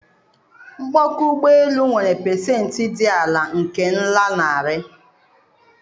Mkpọka ụgbọ elu nwere pasentị dị ala nke nlanarị